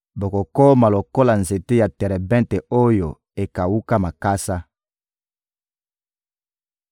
bokokoma lokola nzete ya terebente oyo ekawuka makasa.